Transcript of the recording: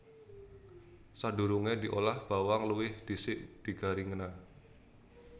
Sadurungé diolah bawang luwih dhisik digaringna